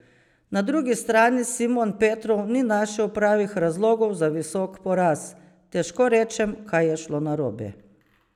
Na drugi strani Simon Petrov ni našel pravih razlogov za visok poraz: "Težko rečem, kaj je šlo narobe.